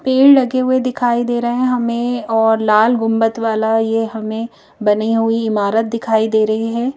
पेड़ लगे हुए दिखाई दे रहे हैं हमें और लाल गुंबत वाला ये हमें बनी हुई इमारत दिखाई दे रही है ।